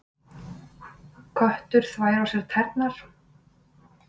Köttur þvær á sér tærnar.